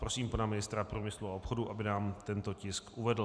Prosím pana ministra průmyslu a obchodu, aby nám tento tisk uvedl.